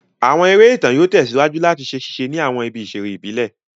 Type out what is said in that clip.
Àwọn eré ìtàn yóò tẹ̀síwájú làti ṣe ṣíse ni àwọn ibi ìsèré ìbílẹ̀